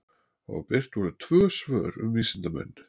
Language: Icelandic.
Og birt voru tvö svör um vísindamenn.